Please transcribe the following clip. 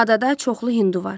Adada çoxlu hindu var.